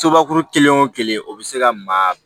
Sobakuru kelen o kelen o bɛ se ka maa